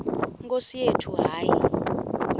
nkosi yethu hayi